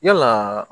Yalaa